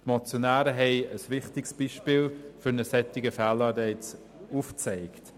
Die Motionäre haben ein wichtiges Beispiel für einen solchen Fehlanreiz aufgezeigt.